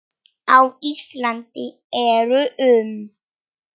Á Íslandi eru um